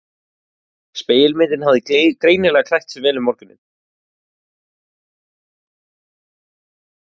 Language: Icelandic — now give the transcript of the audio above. Spegilmyndin hafði greinilega klætt sig vel um morguninn.